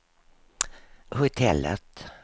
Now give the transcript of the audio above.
hotellet